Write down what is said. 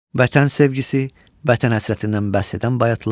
Vətən sevgisi, vətən həsrətindən bəhs edən bayatılar.